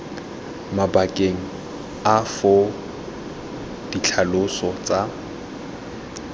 mabakeng a foo ditlhaloso tsa